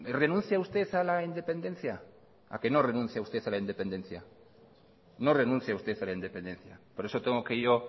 renuncia usted a la independencia a que no renuncia usted a la independencia no renuncia usted a la independencia por eso tengo que yo